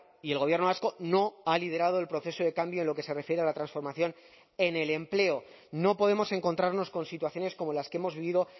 y el gobierno vasco no ha liderado el proceso de cambio en lo que se refiere a la transformación en el empleo no podemos encontrarnos con situaciones como las que hemos vivido